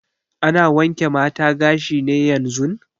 Ana wanke mata gashi ne yanzun?